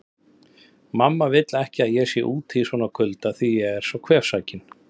Mamma vill ekki að ég sé úti í svona kulda því ég er svo kvefsækinn